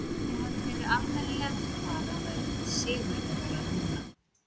Ef þið hefðuð verið almennilega til fara væruð þið sigurvegarar núna.